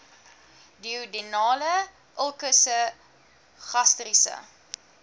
duodenale ulkusse gastriese